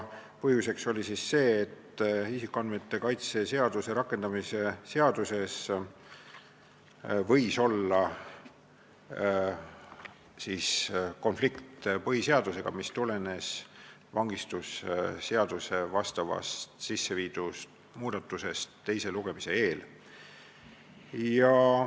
Põhjuseks oli see, et isikuandmete kaitse seaduse rakendamise seaduses võis olla konflikt põhiseadusega, mis tulenes vangistusseadusesse teise lugemise eel sisseviidud muudatustest.